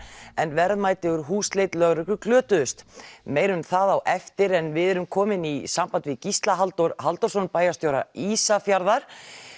en verðmæti úr húsleit lögreglu glötuðust meira um það á eftir en við erum komin í samband við Gísla Halldór Halldórsson bæjarstjóra Ísafjarðar